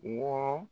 Wɔɔrɔ